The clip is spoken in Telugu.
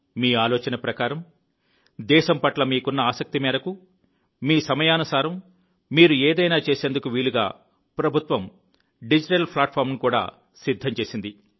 మీ ఆలోచన ప్రకారం దేశం పట్ల మీకున్న ఆసక్తి మేరకు మీ సమయానుసారం మీరు ఏదైనా చేసేందుకు వీలుగా ప్రభుత్వం డిజిటల్ ప్లాట్ఫామ్ను కూడా సిద్ధం చేసింది